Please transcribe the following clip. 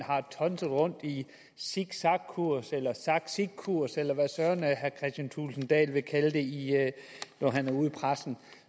har tonset rundt i zigzagkurs eller zagzigkurs eller hvad søren herre kristian thulesen dahl vil kalde det når han går ud i pressen